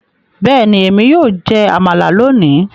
Bẹ́ẹ̀ni, èmi yóò jẹ amala lónìí